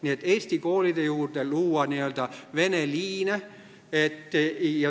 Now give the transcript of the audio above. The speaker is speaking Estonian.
Nii et eesti koolide juurde tuleks luua n-ö vene liine.